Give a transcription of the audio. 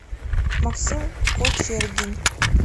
максим кочергин